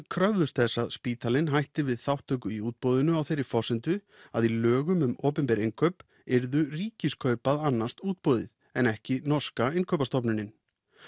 kröfðust þess að spítalinn hætti við þátttöku í útboðinu á þeirri forsendu að í lögum um opinber innkaup yrðu Ríkiskaup að annast útboðið en ekki norska innkaupastofnunin